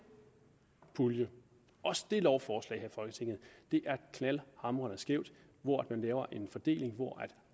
pulje også det lovforslag her i folketinget er knaldhamrende skæv man laver en fordeling hvor